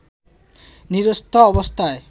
নিরস্ত্র অবস্থায়